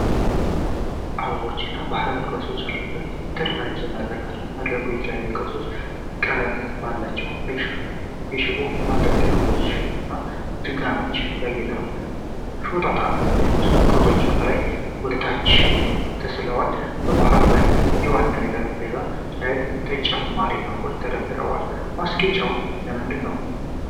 አበቦች እና ባህላዊ ቅርሶች ያሉት የተደራጀ መድረክ አለ። መድረኩ በተለያዩ ቅርጽና ቀለም ባላቸው የሽቦ ማንጠልጠያዎችና ደጋኖች ያጌጠ ነው። ሾጣጣ የሚመስሉ ቅርጾች ከላይ ወደ ታች ተሰቅለዋል። በመሃሉ ላይ የዋናው ጠረጴዛ ላይም ተጨማሪ አበቦች ተደርድረዋል። ማስጌጫው ለምንድነው?